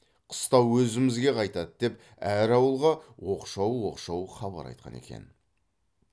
қыстау өзімізге қайтады деп әр ауылға оқшау оқшау хабар айтқан екен